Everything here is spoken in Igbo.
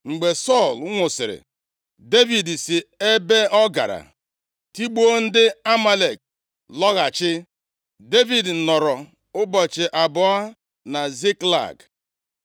Mgbe Sọl nwụsịrị, Devid si ebe ọ gara tigbuo ndị Amalek lọghachi. Devid nọrọ ụbọchị abụọ na Ziklag.